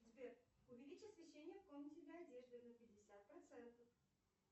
сбер увеличь освещение в комнате для одежды на пятьдесят процентов